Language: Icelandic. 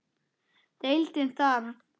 Deildin þarf